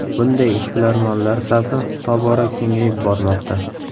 Bunday ishbilarmonlar safi tobora kengayib bormoqda.